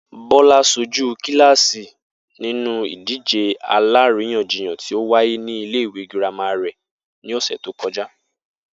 Bó̩lá s̩ojú kíláàsì nínú ìdíje àlaríyànjiyàn tí ó wáyé nílé ìwé girama rè̩ ní ò̩sè̩ tó ko̩já